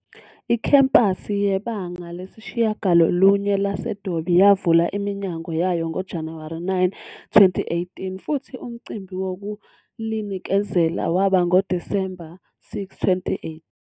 Ikhempasi yeBanga Lesishiyagalolunye lase-Dobie yavula iminyango yayo ngoJanuwari 9, 2018 futhi umcimbi wokulinikezela waba ngo-December 6, 2018.